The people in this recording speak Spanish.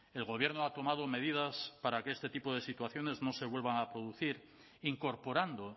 el gobierno ha tomado medidas para que este tipo de situaciones no se vuelvan a producir incorporando